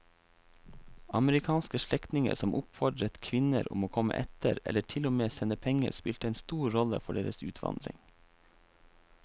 Amerikanske slektninger som oppfordret kvinnene om å komme etter eller til og med sendte penger spilte en stor rolle for deres utvandring.